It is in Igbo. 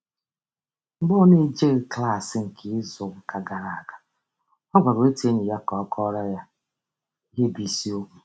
Mgbe ọ n'ejeghị klaasị nke izuụka gara aga, ọ gwara otu enyi ya ka ọ kọọrọ ya ihe bụ isiokwu